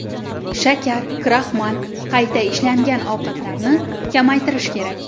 Shakar, kraxmal, qayta ishlangan ovqatlarni kamaytirish kerak.